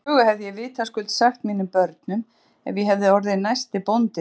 Þessa sögu hefði ég vitaskuld sagt mínum börnum ef ég hefði orðið næsti bóndi þarna.